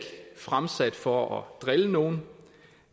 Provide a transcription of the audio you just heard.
fremsat for at drille nogen